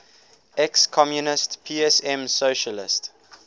ex communist psm socialist